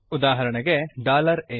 ಉದಾಹರಣೆಗೆ a